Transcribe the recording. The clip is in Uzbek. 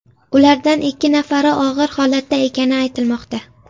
Ulardan ikki nafari og‘ir holatda ekani aytilmoqda.